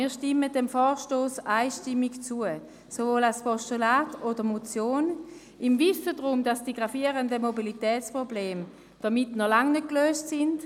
Doch stimmen wir dem Vorstoss einstimmig zu, sowohl als Postulat als auch als Motion, im Wissen darum, dass die gravierenden Mobilitätsprobleme damit noch lange nicht gelöst sind.